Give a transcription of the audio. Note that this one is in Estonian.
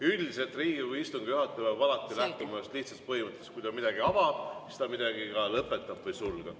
Üldiselt Riigikogu istungi juhataja peab alati lähtuma ühest lihtsast põhimõttest: kui ta midagi avab, siis ta midagi ka lõpetab või sulgeb.